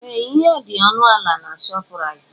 Ee! Ihe dị ọnụ ala na Shọpraịt.